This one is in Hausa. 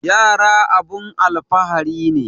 Yara abun alfahari ne